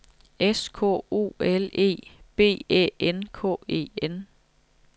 S K O L E B Æ N K E N